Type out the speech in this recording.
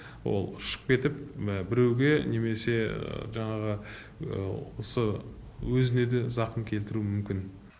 ол ұшып кетіп біреуге немесе жаңағы осы өзіне де зақым келтіру мүмкін